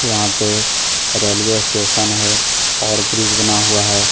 यहां पे railway station है और ब्रिज बना हुआ है।